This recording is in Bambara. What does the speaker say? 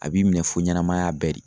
A b'i minɛ fo ɲanamaya bɛɛ de.